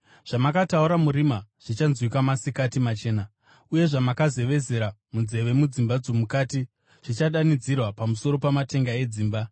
Zvamakataura murima zvichanzwika masikati machena, uye zvamakazevezera munzeve mudzimba dzomukati zvichadanidzirwa pamusoro pamatenga edzimba.